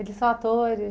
Eles são atores?